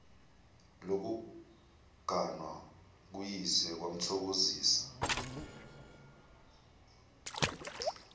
lokuganwa kuyise kwamthokozisa